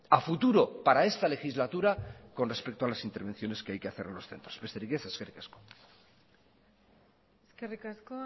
a futuro para esta legislatura con respecto a las intervenciones que hay que hacer en los centros besterik ez eskerrik asko eskerrik asko